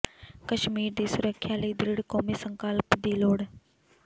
ਕਸ਼ਮੀਰ ਦੀ ਸੁਰੱਖਿਆ ਲਈ ਦ੍ਰਿੜ੍ਹ ਕੌਮੀ ਸੰਕਲਪ ਦੀ ਲੋੜ